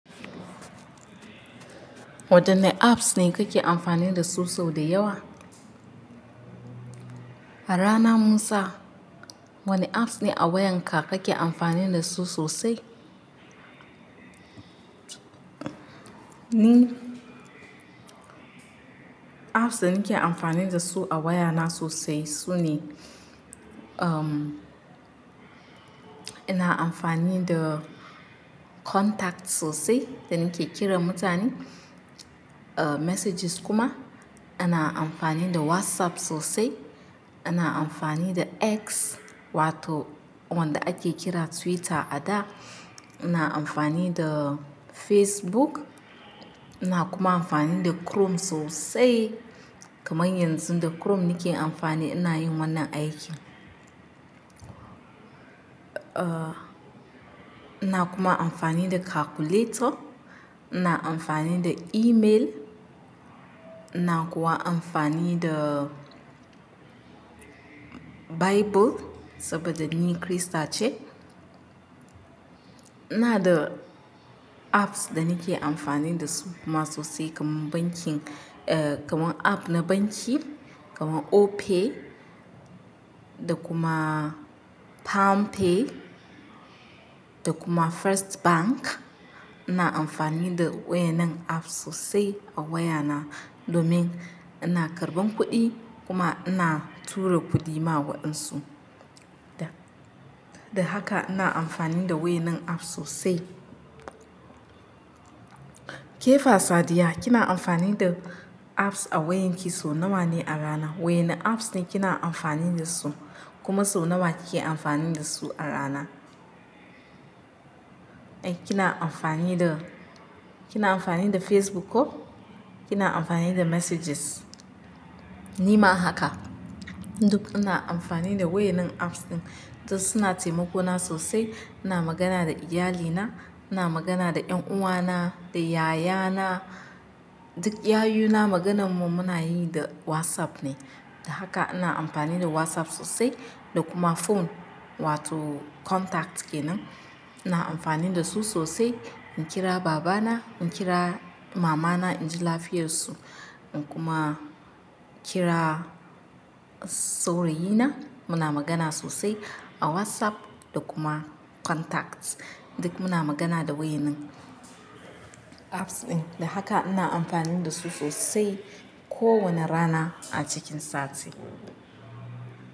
Wadanne apps ne kake amfani dasu sau da yawa? Rana Musa, wane apps ne a wayanka kake amfani dasu sosai? Ni apps da nake amfani dasu a wayana sosai sune, um, ina amfani da contacts sosai da nake kiran mutane, uh, messages kuma. Ina amfani da WhatsApp sosai. Ina amfani da X, wato wanda ake kira Twitter a da. Ina amfani da Facebook. Ina kuma amfani da Chrome sosai. Kaman yanzu da Chrome nake amfani ina yin wannan aikin. Uh, ina kuma amfani da calculator. Ina amfani da email. Ina kuwa amfani da Bible saboda ni Kirista ce. Ina da apps da nake amfani dasu kuma sosai kamar bankin, uh, kamar app na banki, kamar Opay, da kuma PalmPay, da kuma First Bank. Ina amfani da wayannan app sosai a wayana domin ina karɓan kuɗi kuma ina tura kuɗi ma waɗansu. Da, da haka ina amfani da waɗannan app sosai. Kefa Sadiya, kina amfani da apps a wayanki so nawa ne a rana? Wayane apps ne kina amfani dasu? Kuma so nawa kike amfani dasu a rana? Eh, kina amfani da, kina amfani da Facebook ko? Kina amfani da messages? Ni ma haka. Duk ina amfani da wayanen apps ɗin. Duk suna taimako na sosai. Ina magana da iyalina. Ina magana da ƴan uwana, da yayana. Duk yayuna maganarmu muna yi da WhatsApp ne. Da haka ina amfani da WhatsApp sosai da kuma phone wato contacts kenan. Ina amfani da su sosai. In kira babana, in kira mamana in ji lafiyarsu, in kuma kira saurayina. Muna magana sosai a WhatsApp da kuma contacts. Duk muna magana da wayen apps ɗin. Da haka ina amfani da su sosai kowane rana a cikin sati.